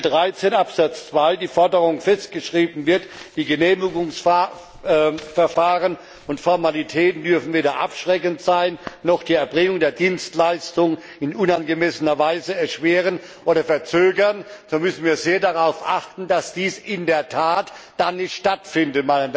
Wenn in Artikel 13 Absatz 2 die Forderung festgeschrieben wird Die Genehmigungsverfahren und Formalitäten dürfen weder abschreckend sein, noch die Erbringung der Dienstleistung in unangemessener Weise erschweren oder verzögern, dann müssen wir sehr darauf achten, dass dies in der Tat nicht stattfindet.